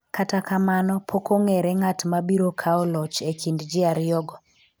kata kamano pok ong'ere ng'at mabiro kawo loch e kind ji ariyo go